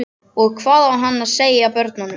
Og hvað á hann að segja börnunum?